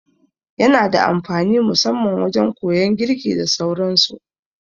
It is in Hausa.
Yana da amfani musamman wajan koyan girki da sauran su